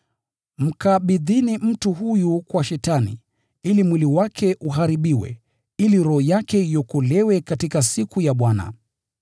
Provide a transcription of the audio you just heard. mkabidhini mtu huyu kwa Shetani, ili mwili wake uharibiwe, ili roho yake iokolewe katika siku ya Bwana.